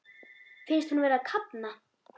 Finnst hún vera að kafna.